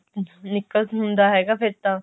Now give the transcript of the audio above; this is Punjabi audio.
ਨਿੱਕਲ ਹੁੰਦਾ ਫਿਰ ਤਾਂ